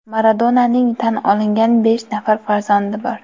Maradonaning tan olingan besh nafar farzandi bor.